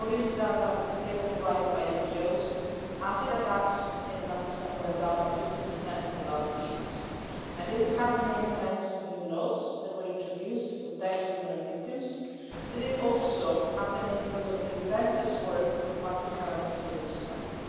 According to data provided by NGOs, acid attacks in Pakistan went down by 50 in the last three years and this is happening thanks to new laws that were introduced to protect women and victims, but it is also happening because of the relentless work of Pakistani civil society.